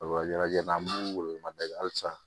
Walajɛ na an b'u wele mada kɛ halisa